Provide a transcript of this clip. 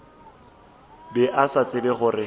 be a sa tsebe gore